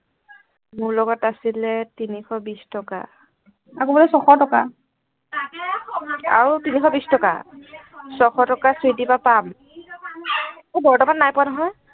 মোৰ লগত আছিলে তিনিশ বিছ টকা আকৌ বোলে ছশ টকা আৰু তিনিশ বিছ টকা ছশ টকা চুইটিৰ পৰা পাম বৰ্তমান নাই পোৱা নহয়